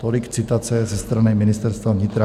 Tolik citace ze strany Ministerstva vnitra.